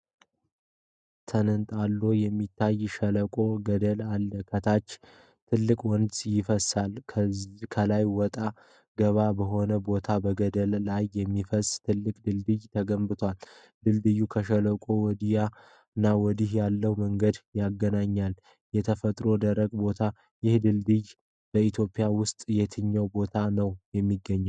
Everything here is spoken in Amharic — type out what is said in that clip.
ተንጣሎ የሚታይ ሸለቆና ገደል አለ። ከታች ትልቅ ወንዝ ይፈሳል። ከላይ ወጣ ገባ በሆነ ቦታ በገደሉ ላይ የሚያልፍ ትልቅ ድልድይ ተገንብቷል። ድልድዩ ከሸለቆው ወዲያና ወዲህ ያለውን መንገድ ያገናኛል። ተፈጥሮው ደረቅ ነው። ይህ ድልድይ በኢትዮጵያ ውስጥ የት ቦታ ነው የሚገኘው?